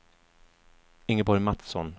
Ingeborg Mattsson